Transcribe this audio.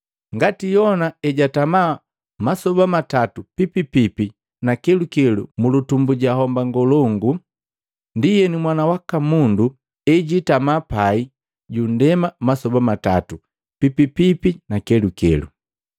Ngati Yona ejatama masoba matatu pipipipi na kelukelu mulutumbu ja homba ngolongu, ndienu Mwana waka Mundu ejitama pai ju nndema masoba matatu pipipipi na kelukelu.”